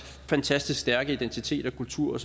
fantastisk stærke identitet og kultur